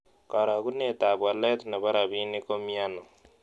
Karogunetap walet ne po rabinik komiano